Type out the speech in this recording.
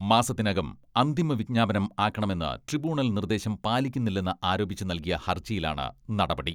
മാസത്തിനകം അന്തിമ വിജ്ഞാപനം ആക്കണമെന്ന് ട്രിബ്യൂണൽ നിർദേശം പാലിക്കുന്നില്ലെന്ന് ആരോപിച്ച് നൽകിയ ഹർജിയിലാണ് നടപടി.